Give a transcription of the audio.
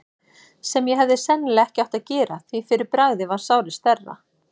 sem ég hefði sennilega ekki átt að gera, því fyrir bragðið varð sárið stærra.